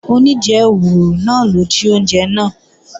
Oníjẹwùrù náà ló jí oúnjẹ náà